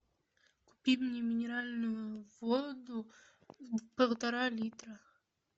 купи мне минеральную воду полтора литра